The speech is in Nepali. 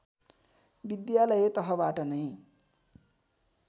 विद्यालय तहबाट नै